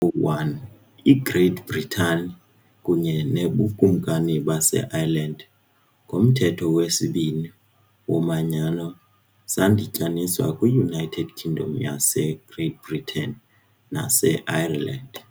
01 iGreat Britain kunye noBukumkani baseIreland, ngoMthetho wesibini "woManyano", zadityaniswa kwiUnited Kingdom yaseGreat Britain naseIreland.